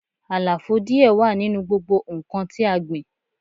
Àlàfo díẹ̀ wà nínú gbogbo nnkan tí a gbìn